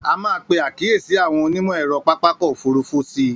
A máa pe àkíyèsí àwọn onímọ̀-ẹ̀rọ pápákọ̀ òfurufú sí i.